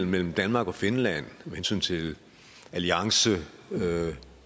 mellem danmark og finland med hensyn til alliance med